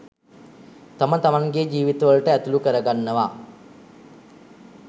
තම තමන්ගේ ජීවිතවලට ඇතුළු කරගන්නවා.